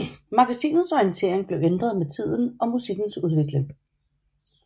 Magasinets orientering blev ændret med tiden og musikens udvikling